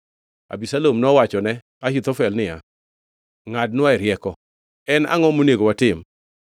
Abisalom nowachone Ahithofel niya, “Ngʼadnwae rieko. En angʼo monego watim?”